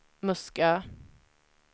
Muskö